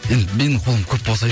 енді менің қолым көп